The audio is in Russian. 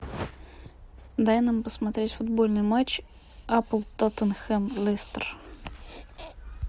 дай нам посмотреть футбольный матч апл тоттенхэм лестер